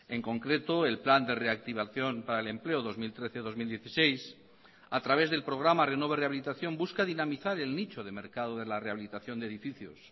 en concreto el plan de reactivación para el empleo dos mil trece dos mil dieciséis a través del programa renove rehabilitación busca dinamizar el nicho de mercado de la rehabilitación de edificios